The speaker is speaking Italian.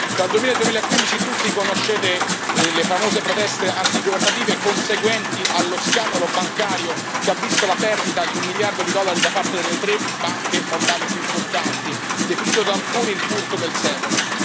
Tra il 2000 e il 2015 tutti conoscete le famose proteste antigovernative conseguenti allo scandalo bancario, che ha visto la perdita di un miliardo di dollari da parte delle tre banche moldove più importanti, definito da alcuni il furto del secolo.